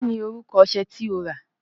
Kí ni orúkọ ọṣẹ tí o rà?